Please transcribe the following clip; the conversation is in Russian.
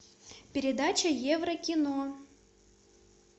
передача еврокино